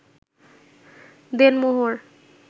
দেনমোহর